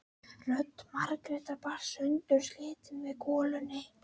Rödd Margrétar barst sundurslitin með golunni.